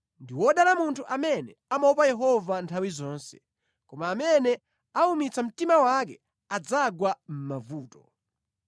Ndi wodala munthu amene amaopa Yehova nthawi zonse, koma amene aumitsa mtima wake adzagwa mʼmavuto.